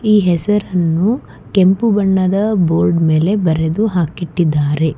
ಈ ಹೆಸರನ್ನು ಕೆಂಪು ಬಣ್ಣದ ಬೋರ್ಡ್ ಮೇಲೆ ಬರೆದು ಹಾಕಿಟ್ಟಿದ್ದಾರೆ.